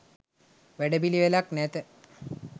වැඩ පිළිවෙලක් නැත